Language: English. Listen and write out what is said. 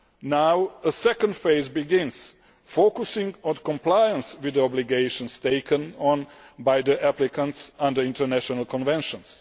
Now a second phase will begin, focusing on compliance with the obligations taken on by the applicants under international conventions.